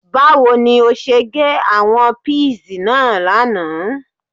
Báwo ni ó ṣe gé àwọn píìsì náà lánàá